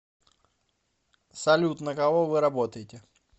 салют на кого вы работаете